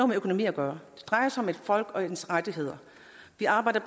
med økonomi at gøre det drejer sig om et folk og dets rettigheder vi arbejder